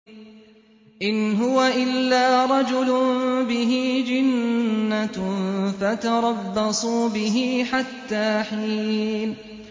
إِنْ هُوَ إِلَّا رَجُلٌ بِهِ جِنَّةٌ فَتَرَبَّصُوا بِهِ حَتَّىٰ حِينٍ